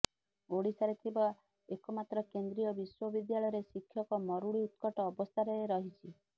ଓଡ଼ିଶାରେ ଥିବା ଏକମାତ୍ର କେନ୍ଦ୍ରୀୟ ବିଶ୍ୱବିଦ୍ୟାଳୟରେ ଶିକ୍ଷକ ମରୁଡ଼ି ଉତ୍କଟ ଅବସ୍ଥାରେ ରହିଛି